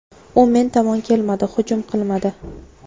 U men tomon kelmadi, hujum qilmadi.